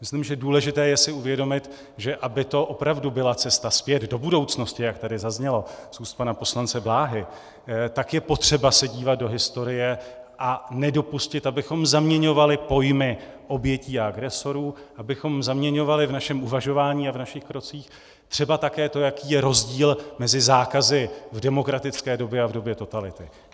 Myslím, že důležité je si uvědomit, že aby to opravdu byla cesta zpět do budoucnosti, jak tady zaznělo z úst pana poslance Bláhy, tak je potřeba se dívat do historie a nedopustit, abychom zaměňovali pojmy obětí a agresorů, abychom zaměňovali v našem uvažování a v našich krocích třeba také to, jaký je rozdíl mezi zákazy v demokratické době a v době totality.